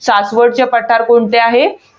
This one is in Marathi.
सासवडचे पठार कोणते आहे?